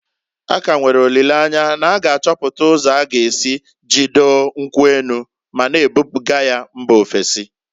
A ka nwere olileanya na a ga achọpụta ụzọ a g'esi jidoo nkwu enu, ma na ebuga ya mba ofesi.